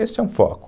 Esse é um foco.